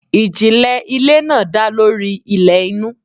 Ijinle ile naa da lori ilẹ inu